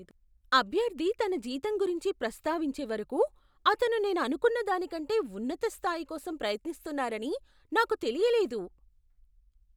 అభ్యర్థి తన జీతం గురించి ప్రస్తావించే వరకు అతను నేను అనుకున్న దానికంటే ఉన్నత స్థాయి కోసం ప్రయత్నిస్తున్నారని నాకు తెలియలేదు.